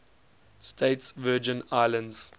states virgin islands